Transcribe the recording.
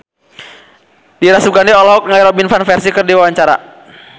Dira Sugandi olohok ningali Robin Van Persie keur diwawancara